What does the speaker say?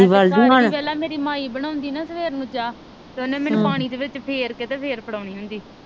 ਵੇਖਲਾ ਮੇਰੀ ਮਾਈ ਬਣਾਉਂਦੀ ਨਾ ਸਵੇਰ ਨੂੰ ਚਾਹ ਓਹਨੇ ਮੈਨੂੰ ਪਾਣੀ ਦੇ ਵਿਚ ਫੇਰ ਕੇ ਤੇ ਫਿਰ ਫਰਾਉਣੀ ਹੁੰਦੀ।